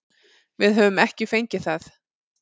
Við höfum ekki fengið það.